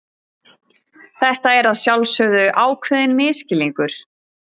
Þetta er að sjálfsögðu ákveðinn misskilningur.